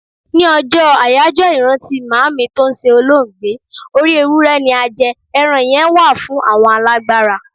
Ní ọjọ́ àyájọ́ ìrántí Màámi tó ṣe olóògbé, orí Ewúré ni a jẹ, ẹran yẹn wà fún àwọn alágbára.